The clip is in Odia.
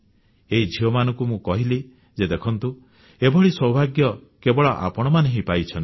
ଏହି ଝିଅମାନଙ୍କୁ ମୁଁ କହିଲି ଯେ ଦେଖନ୍ତୁ ଏଭଳି ସୌଭାଗ୍ୟ କେବଳ ଆପଣମାନେ ହିଁ ପାଇଛନ୍ତି